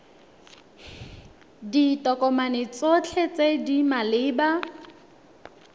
ditokomane tsotlhe tse di maleba